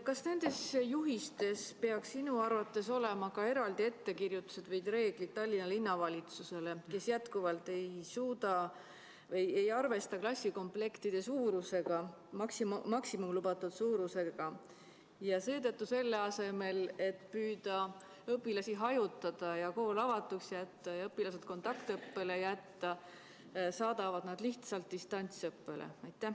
Kas nendes juhistes peaks sinu arvates olema ka eraldi ettekirjutused või reeglid Tallinna Linnavalitsusele, kes jätkuvalt ei arvesta klassikomplektide maksimaalse lubatud suurusega, ja seetõttu selle asemel, et püüda õpilasi hajutada ja kool avatuks ning õpilased kontaktõppele jätta, saadab nad lihtsalt distantsõppele?